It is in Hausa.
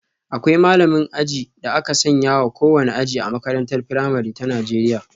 Akwai malamin aji da aka sanya wa kowane aji A makarantar firamare ta Najeriya.